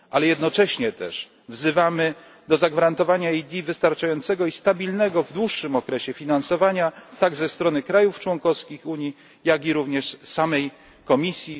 Jednocześnie wzywamy do zagwarantowania EED wystarczającego i stabilnego w dłuższym okresie finansowania, tak ze strony krajów członkowskich Unii, jak i również ze strony samej Komisji.